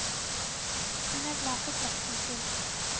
Hun er glad for slekten sin.